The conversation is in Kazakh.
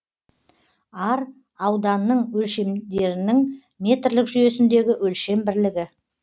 ар ауданның өлшемдердің метрлік жүйесіндегі өлшем бірлігі